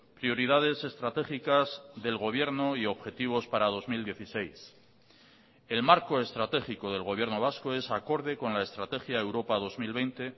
prioridades estratégicas del gobierno y objetivos para dos mil dieciséis el marco estratégico del gobierno vasco es acorde con la estrategia europa dos mil veinte